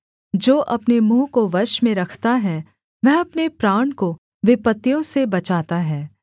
जो अपने मुँह को वश में रखता है वह अपने प्राण को विपत्तियों से बचाता है